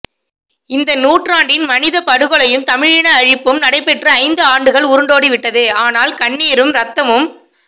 இந்த நூற்றாண்டின் மனிதப்படுகொலையும் தமிழின அழிப்பும் நடைபெற்று ஐந்து ஆண்டுகள் உருண்டோடிவிட்டது ஆனால் கண்ணீரும் ரத்தமும்